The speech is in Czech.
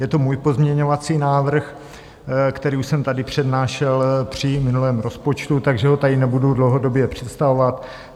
Je to můj pozměňovací návrh, který už jsem tady přednášel při minulém rozpočtu, takže ho tady nebudu dlouhodobě představovat.